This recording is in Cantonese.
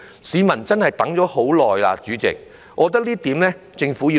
市民真的等了很久，主席，我覺得這項工作政府必須要做。